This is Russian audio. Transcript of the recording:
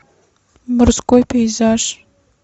морской пейзаж